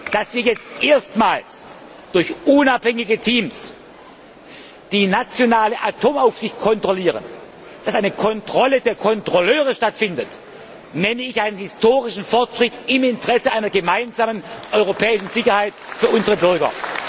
Dass wir jetzt erstmals durch unabhängige Teams die nationale Atomaufsicht kontrollieren, dass eine Kontrolle der Kontrolleure stattfindet, ist meiner Ansicht nach ein historischer Fortschritt im Interesse einer gemeinsamen europäischen Sicherheit für unsere Bürger.